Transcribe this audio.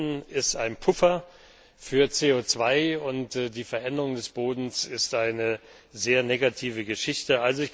Der Boden ist ein Puffer für CO 2 und die Veränderung des Bodens ist eine sehr negative Geschichte.